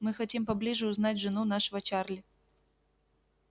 мы хотим поближе узнать жену нашего чарли